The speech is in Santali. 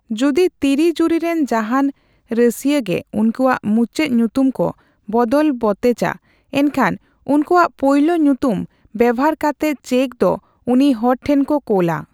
ᱡᱩᱫᱤ ᱛᱤᱨᱤ ᱡᱩᱨᱤ ᱨᱮᱱ ᱡᱟᱦᱟᱱ ᱨᱟᱹᱥᱤᱭᱟᱹᱜᱮ ᱩᱱᱠᱩᱣᱟᱜ ᱢᱩᱪᱟᱹᱫ ᱧᱩᱛᱩᱢ ᱠᱚ ᱵᱚᱫᱚᱞ ᱵᱚᱛᱮᱡᱟ, ᱮᱱᱠᱷᱟᱱ ᱩᱱᱠᱩᱣᱟᱜ ᱯᱳᱭᱞᱳ ᱧᱩᱛᱩᱢ ᱵᱮᱵᱷᱟᱨ ᱠᱟᱛᱮ ᱪᱮᱠᱫᱚ ᱩᱱᱤ ᱦᱚᱲᱴᱷᱮᱱᱠᱚ ᱠᱳᱞᱟ ᱾